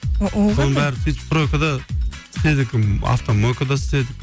ол қандай соның бәрі сөйтіп стройкада істедік ыыы автомойкада істедік